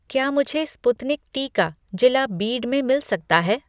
क्या मुझे स्पुतनिक टीका जिला बीड में मिल सकता है